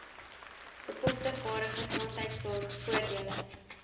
bekostigbare gesondheidsorg voordele